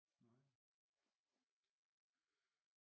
Nej